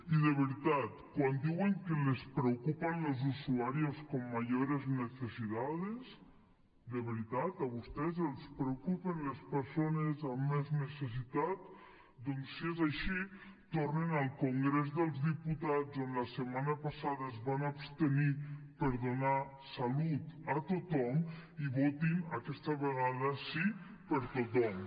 i de veritat quan diuen que les preocupan los usuarios con mayores necesidades de veritat a vostès els preocupen les persones amb més necessitats doncs si és així tornin al congrés dels diputats on la setmana passada es van abstenir per donar salut a tothom i votin aquesta vegada sí per a tothom